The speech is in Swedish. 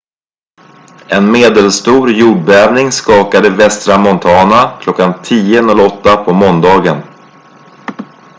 en medelstor jordbävning skakade västra montana kl. 10.08 på måndagen